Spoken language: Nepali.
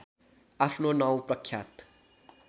आफ्नो नाउँ प्रख्यात